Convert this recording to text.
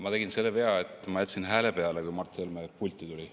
Ma tegin selle vea, et ma jätsin hääle peale, kui Mart Helme pulti tuli.